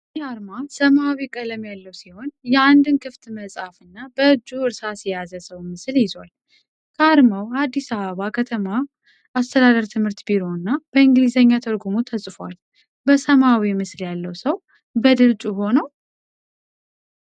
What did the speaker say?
ይህ አርማ ሰማያዊ ቀለም ያለው ሲሆን የአንድን ክፍት መጽሐፍ እና በእጁ እርሳስ የያዘ ሰውን ምስል ይዟል። ከአርማው አዲስ አበባ ከተማ አስተዳደር ትምህርት ቢሮ እና በእንግሊዝኛ ትርጉሙ ተጽፏል። በሰማያዊው ምስል ያለው ሰው በድል ጮሆ ነው?